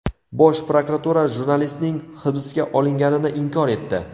Bosh prokuratura jurnalistning hibsga olinganini inkor etdi .